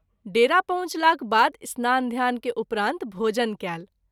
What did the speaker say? डेरा पहुँचलाक बाद स्नान ध्यान के उपरांत भोजन कएल।